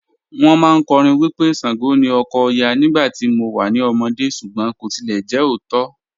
Wọn màáń kọ́rìn wí pé Ṣàngó ni ọkọ̀ Ọya nígbà tí mò wà ní ọmọdé̀ súgbọn kò tilẹ̀ jẹ ọ̀ótó.